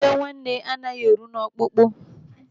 Iwe nwanne anaghị eru n'ọkpụkpụ.